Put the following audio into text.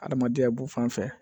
Adamadenya b'o fan fɛ